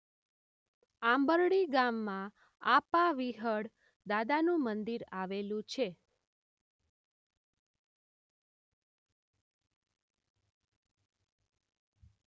આંબરડી ગામમાં આપા વિહળ દાદાનું મંદિર આવેલું છે.